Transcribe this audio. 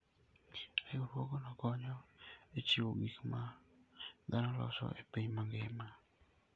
Riwruogno konyo e chiwo gik ma dhano loso e piny mangima.